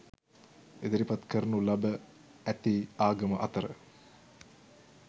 ඉදිරිපත් කරනු ලැබ ඇති ආගම අතර